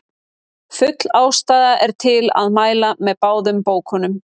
Full ástæða er til að mæla með báðum bókunum.